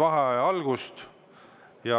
Hääletamine